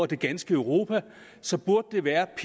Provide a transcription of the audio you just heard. det ganske europa så burde det være a